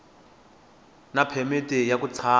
na phemiti ya ku tshama